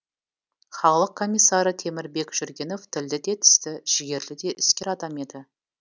халық комиссары темірбек жүргенов тілді де тісті жігерлі де іскер адам еді